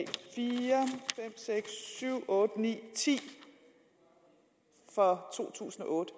fire fem seks syv otte ni ti for to tusind og otte